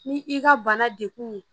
Ni i ka bana de kun ye